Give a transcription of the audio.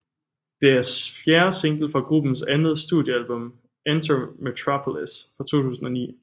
Det er fjerde single fra gruppens andet studiealbum Enter Metropolis fra 2009